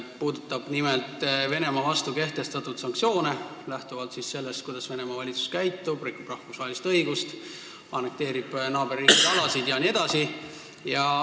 Pean silmas nimelt Venemaa vastu kehtestatud sanktsioone, lähtuvalt sellest, kuidas Venemaa valitsus käitub: rikub rahvusvahelist õigust, annekteerib naaberriikide alasid jne.